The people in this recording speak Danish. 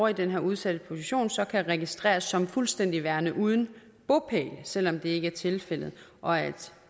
i den her udsatte position så kan registreres som fuldstændig værende uden bopæl selv om det ikke er tilfældet og at